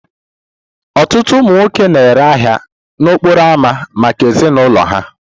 Ọtụtụ ụmụ nwoke na-ere ahia n'okporo ámá maka ezinụlọ ha.